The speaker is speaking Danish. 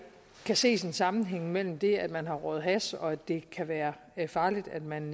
kan ses en sammenhæng mellem det at man har røget hash og at det kan være farligt at man